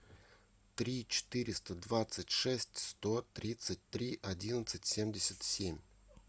три четыреста двадцать шесть сто тридцать три одиннадцать семьдесят семь